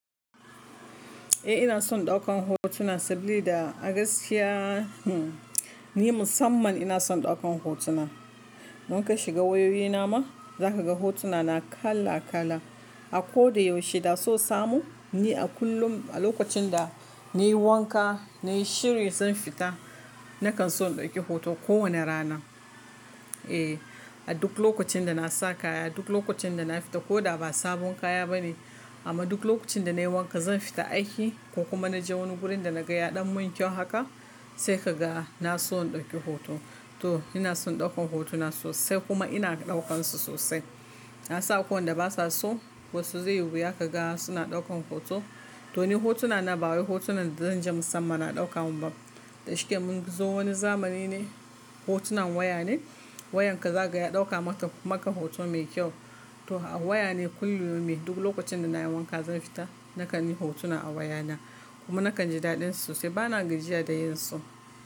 Eh ina son ɗaukan hotuna sabilida a gaskiya, ni musamman ina son ɗaukan hotuna. In ka shiga wayoyina ma za ka ga hotunana kala kala. A ko da yaushe da so samu, ni a kullum a lokacin da na yi wanka, na yi shiri zan fita, na kan so in ɗauki hoto kowane rana. Eh, a duk lokacin da na sa kaya, duk lokacin da na fita ko da ba sabon kaya ba ne amma duk lokacin da na yi wanka zan fita aiki ko kuma na je wani gurin da na ga yaɗan mun kyau haka sai ka ga na so in ɗauki hoto. To ina son ɗaukan hotuna sosai kuma ina ɗaukansu sosai. Na san akwai wanda ba sa so wasu zai yi, wuya ka ga suna ɗaukan hoto. To ni hotuna na ba wai hotunan da zan je musamman a ɗauka mun ba. Da shike mun zo wani zamani ne hotunan waya ne. Wayanka za ka ga ya ɗauka maka hoto mai kyau. To a waya ne kullu yaumin duk lokacin da na yi wanka zan fita na kanyi hotuna a wayana kuma na kan ji daɗin su sosai ba na gajiya da yinsu.